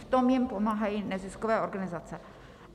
V tom jim pomáhají neziskové organizace.